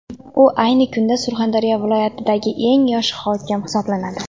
U ayni kunda Surxondaryo viloyatidagi eng yosh hokim hisoblanadi.